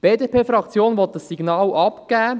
Die BDP-Fraktion will dieses Signal aussenden.